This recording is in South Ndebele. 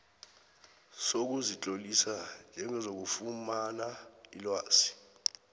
sokuzitlolisa njengozakufumana ilwazi